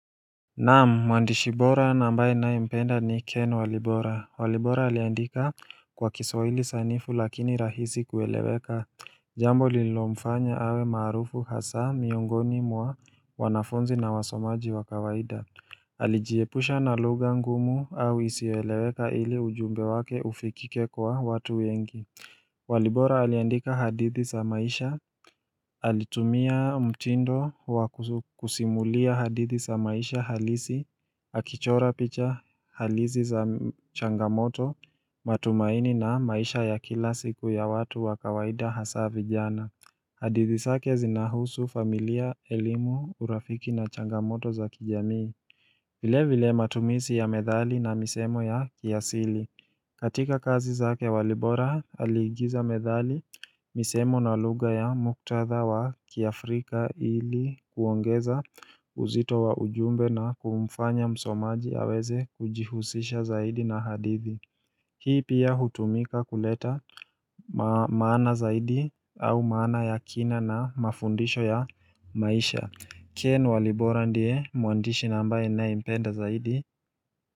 Naam, mwandishi bora na ambaye ninayempenda ni Ken Walibora. Walibora aliandika kwa kiswahili sanifu lakini rahisi kueleweka jambo lililomfanya awe maarufu hasa miongoni mwa wanafunzi na wasomaji wa kawaida. Alijiepusha na lugha ngumu au isiyoeleweka ili ujumbe wake ufikike kwa watu wengi. Walibora aliandika hadithi za maisha, alitumia mtindo wa kusimulia hadithi za maisha halisi, akichora picha halisi za changamoto, matumaini na maisha ya kila siku ya watu wa kawaida hasa vijana. Hadithi zake zinahusu familia, elimu, urafiki na changamoto za kijamii. Vile vile matumizi ya methali na misemo ya kiasili. Katika kazi zake walibora aliigiza methali misemo na lugha ya muktadha wa kiafrika ili kuongeza uzito wa ujumbe na kumfanya msomaji aweze kujihusisha zaidi na hadithi Hii pia hutumika kuleta maana zaidi au maana ya kina na mafundisho ya maisha Ken walibora ndiye mwandishi na ambaye ninayempenda zaidi.